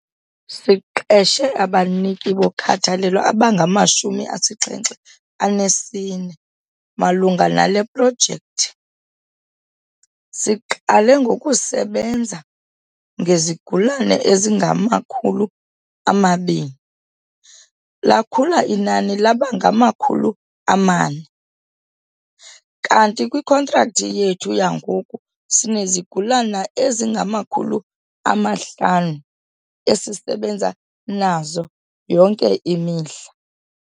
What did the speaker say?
"Siqeshe abaniki bokhathalelo abangama-74 malunga nale projekthi. Siqale ngokusebenza ngezigulana ezingama-200, lakhula inani laba ngama-400, kanti kwikhontrakthi yethu yangoku sinezigulana ezingama-500 esisebenza nazo yonke imihla."